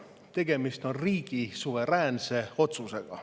Tegemist on riigi suveräänse otsusega.